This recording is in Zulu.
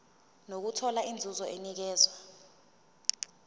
nokuthola inzuzo enikezwa